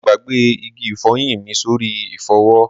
Mo gbàgbé igi ifoyin mi sórí ifowo